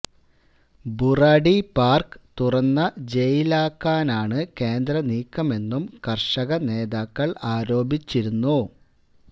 Burari park തുറന്ന ജയിലാക്കാനാണ് കേന്ദ്ര നീക്കമെന്നും കർഷ നേതാക്കൾ ആരോപിച്ചിരുന്നു